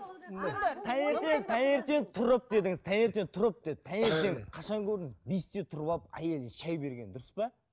таңертең таңертең тұрып дедіңіз таңертең тұрып деді таңертең қашан көрдіңіз бесте тұрып алып әйелдің шай бергенін дұрыс па